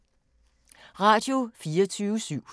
Radio24syv